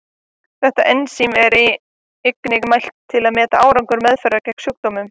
Þetta ensím er einnig mælt til að meta árangur meðferðar gegn sjúkdómnum.